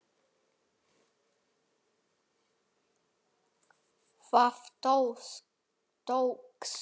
Það tókst.